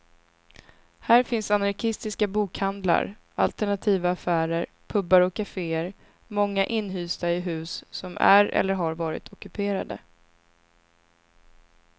Här finns anarkistiska bokhandlar, alternativa affärer, pubar och kafeér, många inhysta i hus som är eller har varit ockuperade.